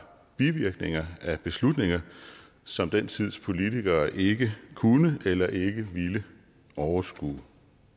bivirkninger af beslutninger som den tids politikere ikke kunne eller ikke ville overskue